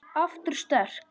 Aftur sterk.